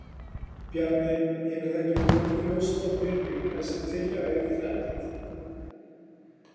Bjarni, hefur það ekki verið nokkuð ljóst frá byrjun að þessi tillaga yrði felld?